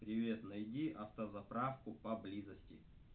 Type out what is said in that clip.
привет найди автозаправку поблизости